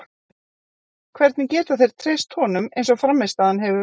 Hvernig geta þeir treyst honum eins og frammistaðan hefur verið?